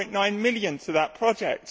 3.9 million to that project.